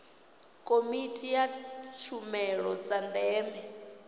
komiti ya tshumelo dza ndeme